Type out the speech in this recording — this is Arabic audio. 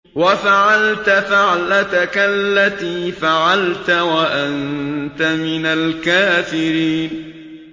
وَفَعَلْتَ فَعْلَتَكَ الَّتِي فَعَلْتَ وَأَنتَ مِنَ الْكَافِرِينَ